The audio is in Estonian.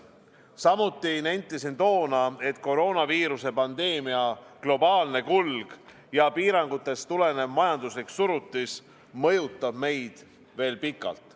Samuti nentisin toona, et koroonaviiruse pandeemia globaalne kulg ja piirangutest tulenev majanduslik surutis mõjutab meid veel pikalt.